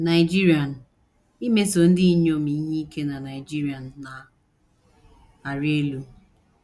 Nigerian: “ Imeso ndị inyom ihe ike na Nigerian na - arị elu.